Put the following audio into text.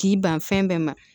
K'i ban fɛn bɛɛ ma